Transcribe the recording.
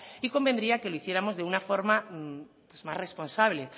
y convendría que lo hiciéramos de una forma pues más responsable